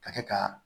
Ka kɛ ka